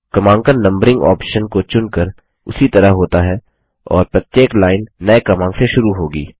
क्रमांकन numbering option को चुनकर उसी तरह होता है और प्रत्येक लाइन नये क्रमांक से शुरू होगी